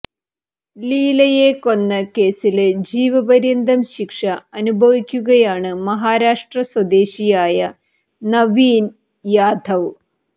ലീലയെ കൊന്ന കേസില് ജീവപര്യന്തം ശിക്ഷ അനുഭവിക്കുകയാണ് മഹാരഷ്ട്ര സ്വദേശിയായ നവീന് യാദവ്